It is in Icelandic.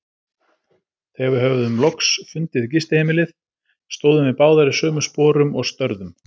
Þegar við höfðum loks fundið gistiheimilið, stóðum við báðar í sömu sporum og störðum.